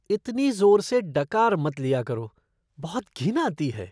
इतनी जोर से डकार मत लिया करों, बहुत घिन आती है।